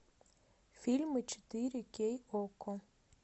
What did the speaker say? фильмы четыре кей окко